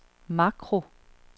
makro